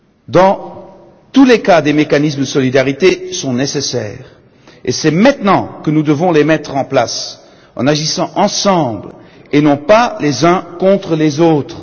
Dans tous les cas, des mécanismes de solidarité sont nécessaires, et c'est maintenant que nous devons les mettre en place, en agissant ensemble et non pas les uns contre les autres.